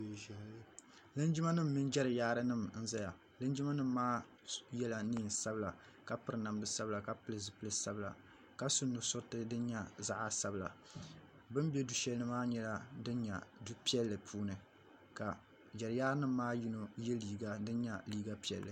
Linjima nima mini jeriyaari nima n zaya linjima nima maa yela niɛn'sabila ka piri namda sabila ka pili zipil'sabila ka su nu'suriti sin nyɛ zaɣa sabila bɛ ni be du'sheli ni maa nyɛla din nyɛ du'pilli puuni ka jeriyaari nima maa yino ye liiga din nyɛ liiga piɛlli.